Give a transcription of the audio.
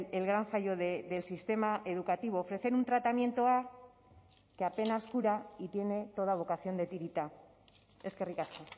el gran fallo del sistema educativo ofrecer un tratamiento a que apenas cura y tiene toda vocación de tirita eskerrik asko